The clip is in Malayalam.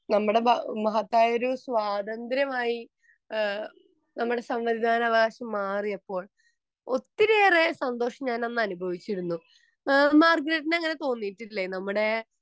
നമ്മുടെ മഹത്തായൊരു സ്വതന്ത്ര്യമായി നമ്മുടെ സമ്മതദാന അവകാശം മാറിയപ്പോൾ ഒത്തിരിയേറെ സന്തോഷം ഞാൻ അന്ന് അനുഭവിച്ചിരിന്നു. അങ്ങനെ തോന്നിയിട്ടില്ലേ ?